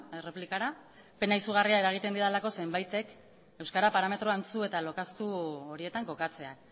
erreplikara pena izugarria eragiten didalako zenbaitek euskera parametro antzu eta lokaztu horietan kokatzea